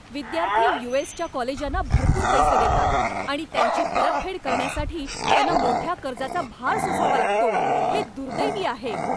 विद्यार्थी यू.एस.च्या कॉलेजांना भरपूर पैसे देतात आणि त्यांची परतफेड करण्यासाठी त्यांना मोठ्या कर्जाचा भार सोसावा लागतो हे दुर्दैवी आहे.